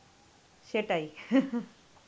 সেটাই.